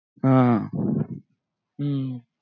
हा हम्म